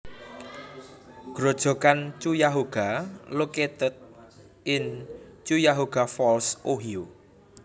Grojogan Cuyahoga located in Cuyahoga Falls Ohio